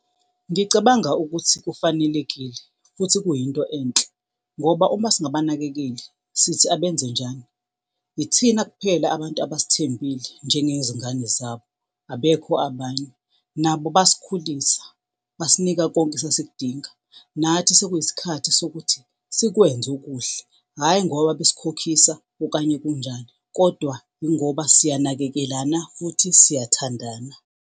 Ngicabanga ukuthi kufanelekile futhi kuyinto enhle ngoba uma singabanakekeli sithi abenze njani? Ithina kuphela abantu abasithembile njengezingane zabo abekho abanye. Nabo basikhulisa, basinika konke esasikudinga, nathi sekuyisikhathi sokuthi sikwenze okuhle hhayi ngoba besikhokhisa, okanye kunjani kodwa yingoba siyanakekelana futhi siyathandana.